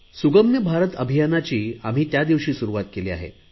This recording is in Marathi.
सुगम्य भारत अभियानाची आम्ही त्या दिवशी सुरुवात केली आहे